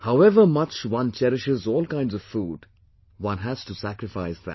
However much one cherishes all kinds of food, one has to sacrifice that